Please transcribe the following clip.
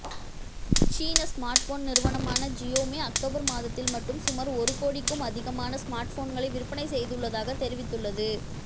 சீன ஸ்மார்ட்போன் நிறுவனமான Xiaomi October மாதத்தில் மட்டும் சுமார் ஒரு கோடிக்கும் அதிகமான ஸ்மார்ட்போன்களை விற்பனை செய்துள்ளதாக தெரிவித்துள்ளது